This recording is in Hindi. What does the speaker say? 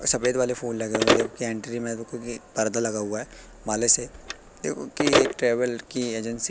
सफेद वाले फूल लगे हुए हैं देखो की एंट्री में क्योंकि पर्दा लगा हुआ है माले से एक ट्रेवल की एजेंसी --